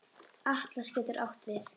Atlas getur átt við